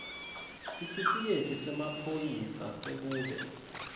sitifiketi semaphoyisa sekuba